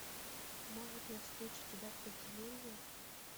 может я встречу тебя в подземелье